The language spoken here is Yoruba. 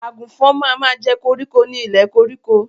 Àgùnfọn ma ma jẹ́ koríko ni ilẹ̀ koríko.